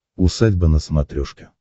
усадьба на смотрешке